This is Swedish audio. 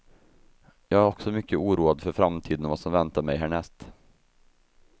Jag är också mycket oroad för framtiden och vad som väntar mig härnäst.